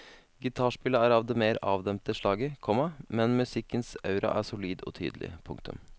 Gitarspillet er av det mer avdempede slaget, komma men musikkens aura er solid og tydelig. punktum